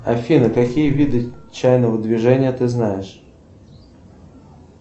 афина какие виды чайного движения ты знаешь